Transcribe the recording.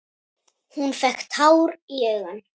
Hún fékk tár í augun.